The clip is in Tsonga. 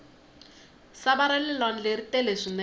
sava rale lwandle ri tele swinene